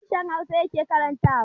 Isa harshen hausa yake karantawa